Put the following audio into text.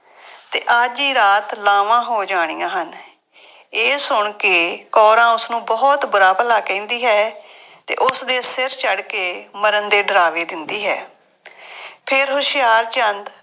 ਅਤੇ ਅੱਜ ਹੀ ਰਾਤ ਲਾਵਾਂ ਹੋ ਜਾਣੀਆਂ ਹਨ। ਇਹ ਸੁਣ ਕੇ ਕੌਰਾਂ ਉਸਨੂੰ ਬਹੁਤ ਬੁਰਾ ਭਲਾ ਕਹਿੰਦੀ ਹੈ ਅਤੇ ਉਸਦੇ ਸਿਰ ਚੜ੍ਹ ਕੇ ਮਰਨ ਦੇ ਡਰਾਵੇ ਦਿੰਦੀ ਹੈ। ਫੇਰ ਹੁਸ਼ਿਆਰਚੰਦ